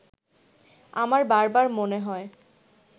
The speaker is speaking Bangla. আমার বারবার মনে হয়